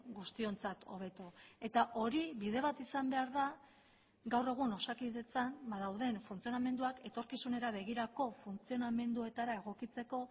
guztiontzat hobeto eta hori bide bat izan behar da gaur egun osakidetzan ba dauden funtzionamenduak etorkizunera begirako funtzionamenduetara egokitzeko